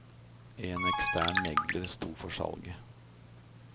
En ekstern megler sto for salget.